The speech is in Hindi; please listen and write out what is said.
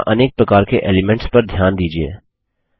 यहाँ अनेक प्रकार के एलीमेंट्स पर ध्यान दीजिये